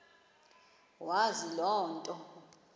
wazi loo nto